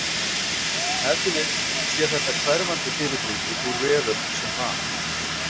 Ef til vill sé þetta hverfandi fyrirbrigði úr veröld sem var.